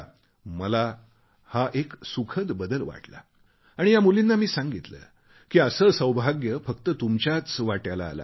मला हा एक सुखद बदल वाटला आणि मी या मुलींना सांगितले की असे सौभाग्य फक्त तुमच्याच वाट्याला आले आहे